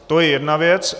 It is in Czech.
To je jedna věc.